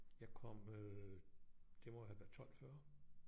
Jeg kom øh det må have været 12 40